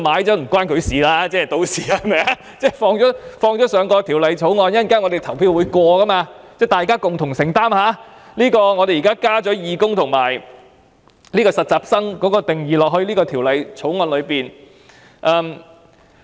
政府在《條例草案》加入這些修正案，最後會經議員投票通過，由大家共同承擔在《條例草案》加入義工及實習人員等定義的後果。